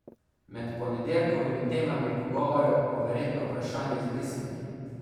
Med ponedeljkovimi temami pogovorov bo verjetno vprašanje izbrisanih.